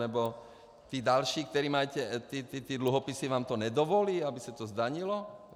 Nebo ti další, kteří mají ty dluhopisy, vám to nedovolí, aby se to zdanilo?